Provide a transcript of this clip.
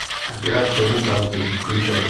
операция мутанты включай